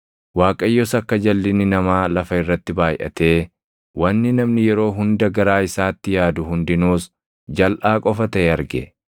Waaqayyos akka jalʼinni namaa lafa irratti baayʼatee, wanni namni yeroo hunda garaa isaatti yaadu hundinuus jalʼaa qofa taʼe arge.